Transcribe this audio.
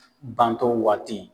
Bantɔ waati